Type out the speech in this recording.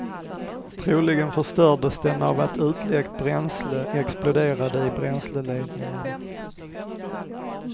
Troligen förstördes den av att utläckt bränsle exploderade i bränsleledningarna.